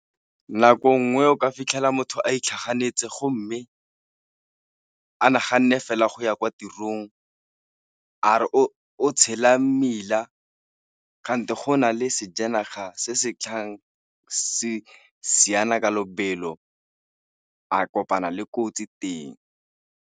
Nako nngwe o ka fitlhela motho a itlhaganetse go mme a naganne fela go ya kwa tirong, are o tshela mmila kante go na le sejanaga se se tlhang se siana ka lobelo a kopana le kotsi teng.